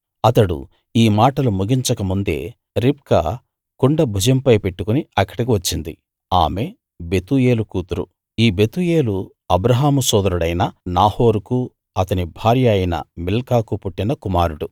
అతడు ఈ మాటలు ముగించక ముందే రిబ్కా కుండ భుజంపై పెట్టుకుని అక్కడికి వచ్చింది ఆమె బెతూయేలు కూతురు ఈ బెతూయేలు అబ్రాహాము సోదరుడైన నాహోరుకూ అతని భార్య అయిన మిల్కాకూ పుట్టిన కుమారుడు